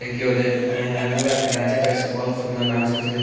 एकयोरे मेहरारूवा के नाचे ता स बहुत सुंदर ।